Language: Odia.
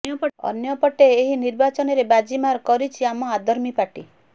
ଅନ୍ୟପଟେ ଏହି ନିର୍ବାଚନରେ ବାଜି ମାର କରିଛି ଆମ ଆଦର୍ମି ପାର୍ଟି